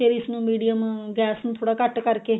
ਫਿਰ ਇਸਨੂੰ medium gas ਨੂੰ ਥੋੜਾ ਘੱਟ ਕਰਕੇ